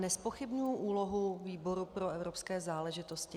Nezpochybňuji úlohu výboru pro evropské záležitosti.